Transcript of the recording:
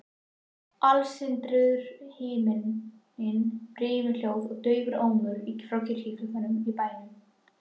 Alstirndur himinn, brimhljóð og daufur ómur frá kirkjuklukkunum í bænum.